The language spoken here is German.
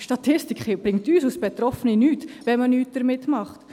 Diese Statistik bringt uns Betroffenen nichts, wenn man nichts damit macht.